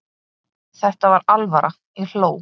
Þetta var alvara, ég hló.